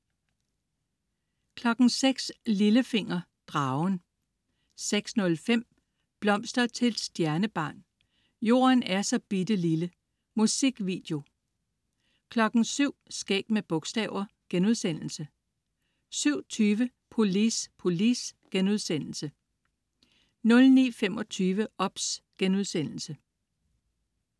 06.00 Lillefinger. Dragen 06.05 Blomster til et stjernebarn. Jorden er så bitte lille. Musikvideo 07.00 Skæg med bogstaver* 07.20 Polis, polis* 09.25 OBS*